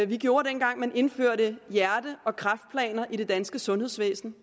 vi gjorde dengang man indførte hjerte og kræftplaner i det danske sundhedsvæsen